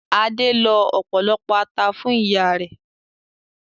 Adé lọ ọ̀pọ̀lọpọ̀ ata fún ìyá rẹ̀.